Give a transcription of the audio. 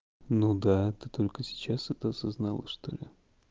ну да ты только сейчас это осознала что ли